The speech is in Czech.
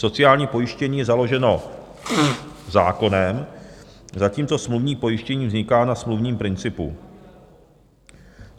Sociální pojištění je založeno zákonem, zatímco smluvní pojištění vzniká na smluvním principu.